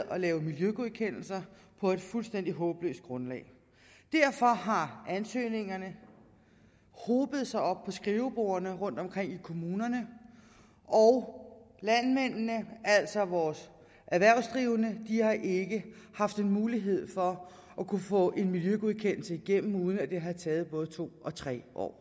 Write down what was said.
at lave miljøgodkendelser på et fuldstændig håbløst grundlag derfor har ansøgningerne hobet sig op på skrivebordene rundtomkring i kommunerne og landmændene altså vores erhvervsdrivende har ikke haft mulighed for at kunne få en miljøgodkendelse igennem uden at det har taget både to og tre år